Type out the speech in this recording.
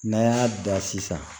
N'an y'a da sisan